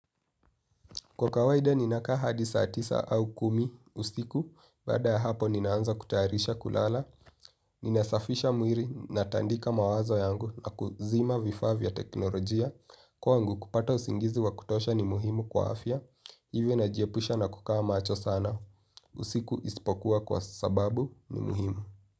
Kwa kawaida ninakaa hadi saa tisa au kumi usiku, baada hapo ninaanza kutayarisha kulala, ninasafisha mwili natandika mawazo yangu na kuzima vifaa vya teknolojia, kwangu kupata usingizi wa kutosha ni muhimu kwa afya, hivyo najiepusha na kukaa macho sana, usiku isipokuwa kwa sababu ni muhimu.